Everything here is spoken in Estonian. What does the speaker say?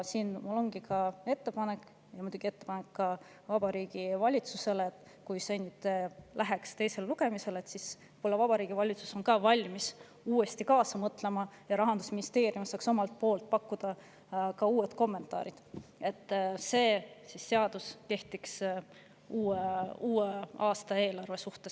Mul ongi ettepanek, ka Vabariigi Valitsusele: kui see läheks teisele lugemisele, siis võib-olla on Vabariigi Valitsus valmis uuesti kaasa mõtlema ja Rahandusministeerium saab pakkuda uued kommentaarid, et see seadus kehtiks uue aasta eelarve suhtes.